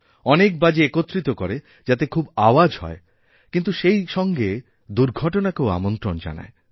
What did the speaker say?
অনেক বাজি একত্রিত করে যাতে খুব আওয়াজও হয় কিন্তু সেইসঙ্গে দুর্ঘটনাকেও আমন্ত্রণ জানায়